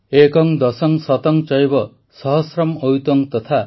ଏକଂ ଦଶଂ ଶତଂ ଚୈବ ସହସ୍ରମ୍ ଅୟୂତଂ ତଥା